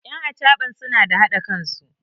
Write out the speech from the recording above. yan achaban suna da haɗa kansu